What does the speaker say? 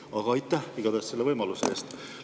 Aga aitäh igatahes selle võimaluse eest!